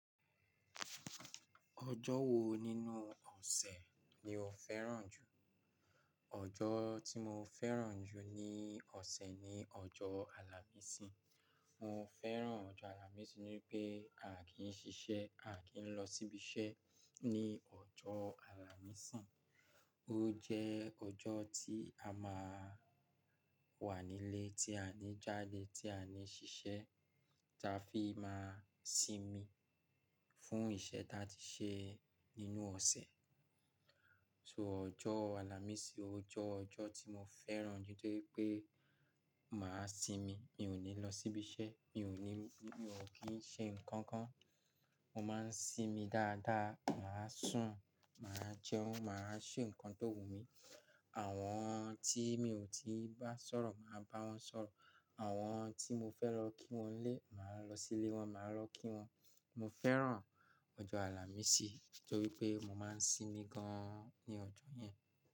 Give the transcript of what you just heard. Ọjọ́ wo nínú ọ̀sẹ̀ ni o fẹ́ràn jù? Ọjọ́ tí mo fẹ́ràn jù ní ọ̀sẹ̀ ni ọjọ́ àlàmísì. Mo fẹ́ràn ọjọ́ àlàmísì nítorí pé a kì n ṣiṣẹ́, a kì n lọ síbi iṣẹ́ ní ọjọ́ àlàmísì. Ó jẹ́ ọjọ́ tí a máa wà nílé, tí a ní jáde, tí a ní ṣiṣẹ́, ta fi máa sinmi fún iṣẹ́ tí a ti ṣe nínú ọ̀sẹ̀. So ọjọ́ àlàmísì ò je ọjọ́ tí mo fẹ́ràn jù nítorí pé màá sinmi, mi ò ní lọ sí ibi iṣẹ́, mi ò ní, mi ò kí ń ṣe ǹkan kan. Mo máa ń sinmi dáadáa, màá sùn, màá jẹun, màá ṣe nǹkan tó wù mí. Àwọn tí mi ò tí bá sọ̀rọ̀ máa bá wọn sọ̀rọ̀. Àwọn tí mo fẹ́ lọ kí wọn nlé, màá lọ sílé wọn, màá lọ kí wọn. Mo fẹ́ràn ọjọ́ àlàmísì nítorí pé mo máa ń sinmi gan-an ní ọjọ́ yẹn.